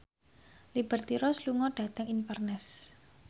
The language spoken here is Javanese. Liberty Ross lunga dhateng Inverness